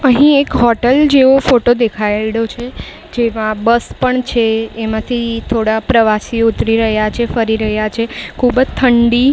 અહીં એક હોટલ જેવો ફોટો દેખાયડો છે જેમાં બસ પણ છે એમાંથી થોડા પ્રવાસીઓ ઉતરી રહ્યા છે ફરી રહ્યા છે ખૂબ જ ઠંડી --